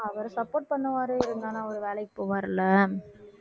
அவரு support பண்ணுவாரு இருந்தாலும் அவர் வேலைக்குப் போவாருல்ல